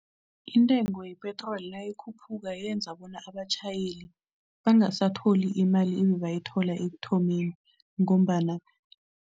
Intengo yepetroli nayikhuphuka yenza bona abatjhayeli bangasatholi imali ebebayithola ekuthomeni ngombana.